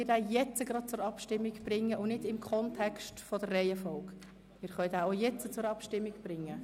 Wir können auch jetzt darüber abstimmen.